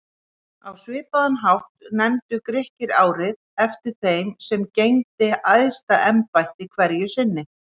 Á svipaðan hátt nefndu Grikkir árið eftir þeim sem gegndi æðsta embætti hverju sinni.